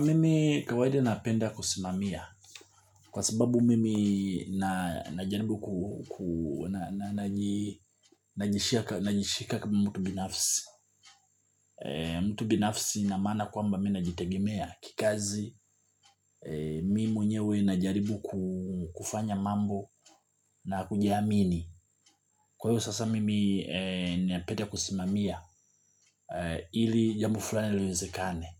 Mimi kawaida napenda kusimamia kwa sababu mimi najaribu najishika kama mtu binafsi. Mtu binafsi na maana kwamba mi najitegemea kikazi mimi mwenyewe najaribu kufanya mambo na kujiamini. Kwa hivyo sasa mimi napenda kusimamia ili jambo fulani liwezekane.